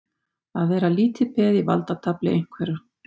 Að vera lítið peð í valdatafli einhverra